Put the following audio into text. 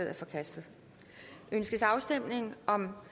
er forkastet ønskes afstemning om